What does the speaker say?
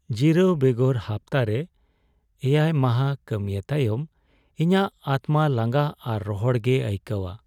ᱡᱤᱨᱟᱹᱣ ᱵᱮᱜᱚᱨ ᱦᱟᱯᱛᱟᱨᱮ ᱗ ᱢᱟᱦᱟ ᱠᱟᱹᱢᱤᱭ ᱛᱟᱭᱚᱢ ᱤᱧᱟᱹᱜ ᱟᱛᱢᱟ ᱞᱟᱸᱜᱟ ᱟᱨ ᱨᱚᱦᱚᱲ ᱜᱮᱭ ᱟᱹᱭᱠᱟᱹᱣᱟ ᱾